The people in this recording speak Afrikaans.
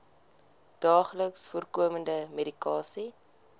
daagliks voorkomende medikasie